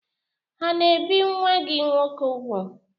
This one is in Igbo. Ha n'ebì nwa gị nwoke úgwù?